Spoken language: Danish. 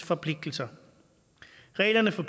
forpligtelser reglerne for